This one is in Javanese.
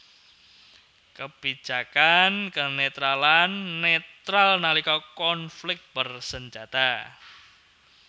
Kebijakan kenetralan netral nalika konflik bersenjata